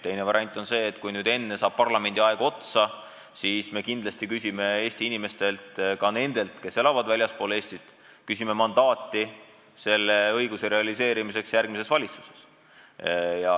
Teine variant on see, et kuna selle parlamendikoosseisu aeg saab otsa, siis me kindlasti küsime meie inimestelt – ka nendelt, kes elavad väljaspool Eestit – mandaati oma ettepaneku elluviimiseks järgmises valitsuses.